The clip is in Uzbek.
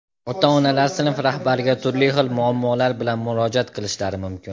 Ota-onalar sinf rahbariga turli xil muammolar bilan murojaat qilishlari mumkin.